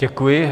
Děkuji.